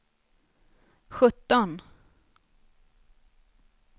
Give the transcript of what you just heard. sjutton